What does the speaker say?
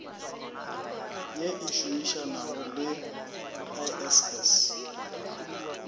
ye e šomišanago le iss